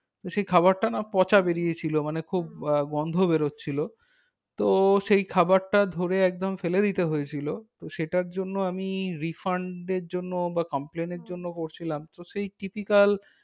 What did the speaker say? তো সেই খাবারটা না পচা বেরিয়েছিল। মানে খুব আহ গন্ধ বেরোচ্ছিল। তো সেই খাবারটা ধরে একদম ফেলে দিতে হয়েছিল। তো সেটার জন্য আমি refund এর জন্য বা complaint এর জন্য তো সেই typical